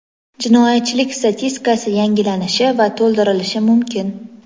jinoyatchilik statistikasi yangilanishi va to‘ldirilishi mumkin.